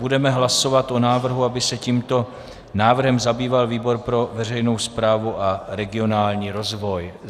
Budeme hlasovat o návrhu, aby se tímto návrhem zabýval výbor pro veřejnou správu a regionální rozvoj.